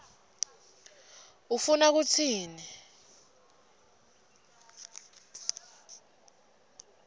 ufuna kutsini